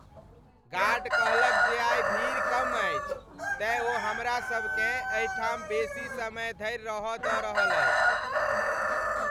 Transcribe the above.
Guard कहलक जे आइ भीड़ कम अछि। तेँ ओ हमरा सभकेँ एहि ठाम बेसी समय धरि रह दऽ रहल अछि ।